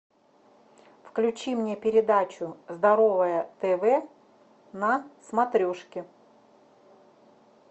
включи мне передачу здоровое тв на смотрешке